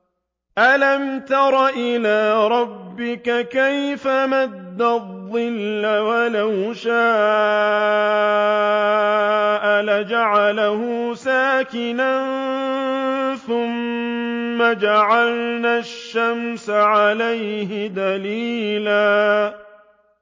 أَلَمْ تَرَ إِلَىٰ رَبِّكَ كَيْفَ مَدَّ الظِّلَّ وَلَوْ شَاءَ لَجَعَلَهُ سَاكِنًا ثُمَّ جَعَلْنَا الشَّمْسَ عَلَيْهِ دَلِيلًا